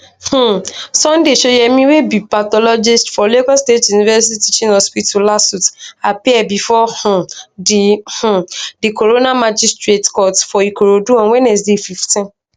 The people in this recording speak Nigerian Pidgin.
um sunday shoyemi wey be pathologist for lagos state university teaching hospital lasuth appear bifor um di um di coroner magistrate court for ikorodu on wednesday 15